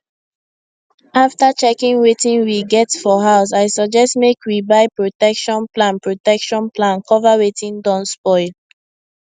after checking wetin we get for house i suggest make we buy protection plan protection plan cover wetin don spoil